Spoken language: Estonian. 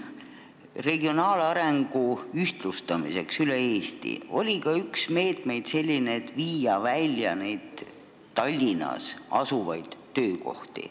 Regionaalarengu ühtlustamiseks üle Eesti oli üks meetmetest selline, et tuleb viia välja Tallinnas asuvaid töökohti.